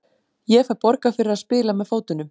Ég fæ borgað fyrir að spila með fótunum.